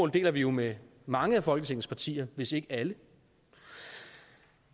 deler vi jo med mange af folketingets partier hvis ikke alle